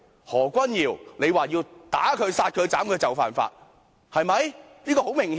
何君堯議員說要打他、殺他、斬他，就是犯法。